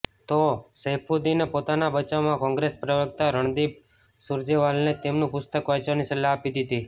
તો સૈફુદ્દીને પોતાના બચાવમાં કોંગ્રેસ પ્રવક્તા રણદીપ સુરજેવાલાને જ તેમનું પુસ્તક વાંચવાની સલાહ આપી દિધી